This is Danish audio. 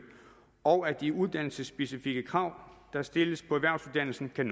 og at de uddannelsesspecifikke krav der stilles på erhvervsuddannelser kan